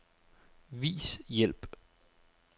Vis hjælp.